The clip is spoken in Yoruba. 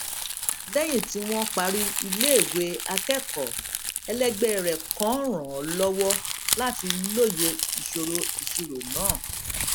léyìn tí wón parí iléèwé akékòó ẹlẹgbé rè kan ràn án lówó láti lóye ìṣòro ìṣirò náà